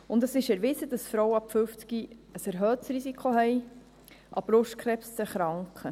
Und es ist erwiesen, dass Frauen ab 50 ein erhöhtes Risiko haben, an Brustkrebs zu erkranken.